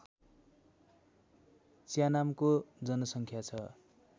च्यानामको जनसङ्ख्या छ